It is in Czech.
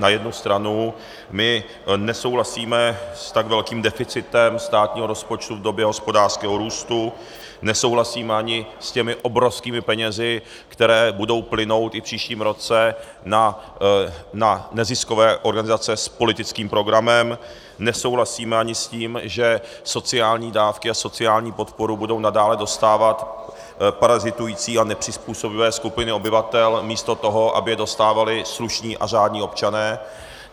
Na jednu stranu my nesouhlasíme s tak velkým deficitem státního rozpočtu v době hospodářského růstu, nesouhlasíme ani s těmi obrovskými penězi, které budou plynout i v příštím roce na neziskové organizace s politickým programem, nesouhlasíme ani s tím, že sociální dávky a sociální podporu budou nadále dostávat parazitující a nepřizpůsobivé skupiny obyvatel místo toho, aby je dostávali slušní a řádní občané.